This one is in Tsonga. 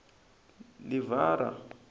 livhara